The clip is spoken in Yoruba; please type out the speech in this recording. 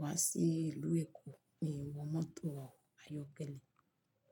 wá sí ìlú Èkó, mi ò mọ mọ́tò ayọ́kẹ́lẹ́.